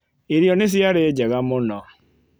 Irio nĩ ciarĩ njega mũno.